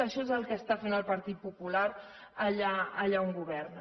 això és el que està fent el partit popular allà on governa